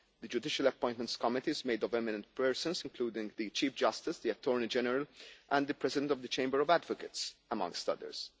The judicial appointments committee is made of eminent persons, including the Chief Justice, the Attorney General and the President of the Chamber of Advocates, amongst others.